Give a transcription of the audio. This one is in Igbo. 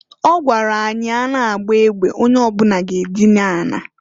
Ọ gwara anyị na- a na agba egbe, onye ọbuna ga-adịna na ala.